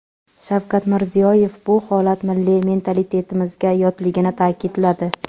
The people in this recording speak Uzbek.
Shavkat Mirziyoyev bu holat milliy mentalitetimizga yotligini ta’kidladi.